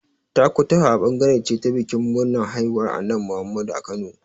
Takutaha ɓangare ce ta bikin murnar haihuwar Annabi Muhammadu a Kano.